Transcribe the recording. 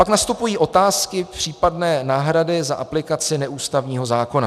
Pak nastupují otázky případné náhrady za aplikaci neústavního zákona.